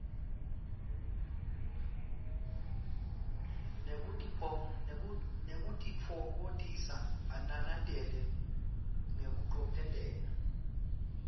nekutitfokotisa ananele ngekucophelela